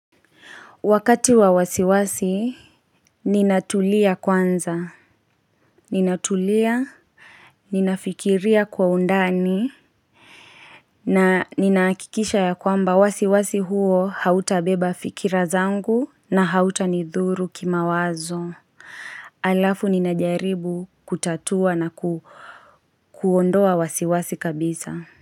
Wakati wa wasiwasi, ninatulia kwanza, ninatulia, ninafikiria kwa undani, na ninahakikisha ya kwamba wasiwasi huo hautabeba fikira zangu na hautanidhuru kimawazo. Alafu ninajaribu kutatua na kuondoa wasiwasi kabisa.